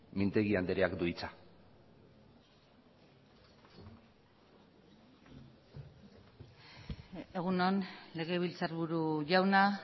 mintegi andreak du hitza egun on legebiltzarburu jauna